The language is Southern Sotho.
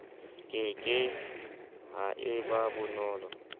ke ke ha eba bonolo